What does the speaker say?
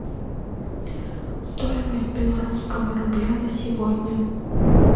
стоимость белорусского рубля на сегодня